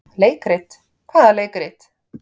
Leikrit, hvaða leikrit?